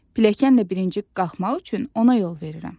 Pilləkənlə birinci qalxmaq üçün ona yol verirəm.